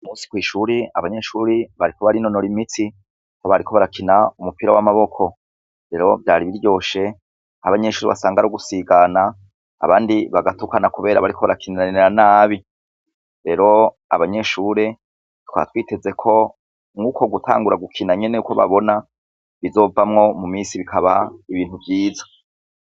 Uyu musi kw'ishure, abana bariko barinomkra imitsi, aho bariko barakina umupira w'amaboko, rero vyari biryoshe abanyeshure kw'ari ugusigana abandi bagatukana kubra bariko bakiniranira nabi, reo abanyeshure bari biteze nuko gutangura gukina nyene ko babona bizovamwo mumisi bikaba ibintu vyiza.